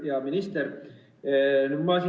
Hea minister!